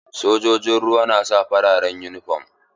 Sojojin ruwa na sa farar uniform.